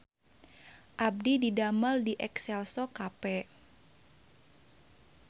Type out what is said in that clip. Abdi didamel di Exelco Cafe